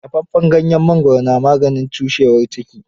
Dafaffen ganyen mangwaro na maganin cushewar ciki.